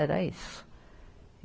Era isso.